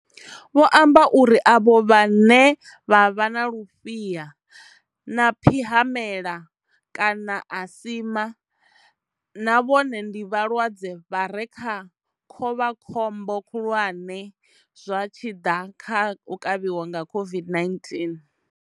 Vho amba uri avho vhane vha vha na lufhiha na phihamela kana asima na vhone ndi vhalwadze vha re kha khovhakhombo khulwane zwa tshi ḓa kha u kavhiwa nga COVID-19.